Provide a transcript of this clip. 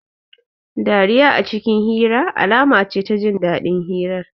Dariya a cikin hira, alama ce ta jin dadin hirar